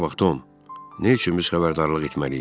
Bura bax Tom, nə üçün biz xəbərdarlıq etməliyik?